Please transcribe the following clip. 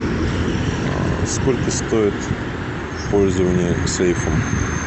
сколько стоит пользование сейфом